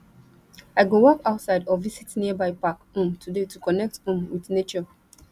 i go walk outside or visit nearby park um today to connect um with nature